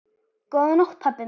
Góða nótt pabbi minn.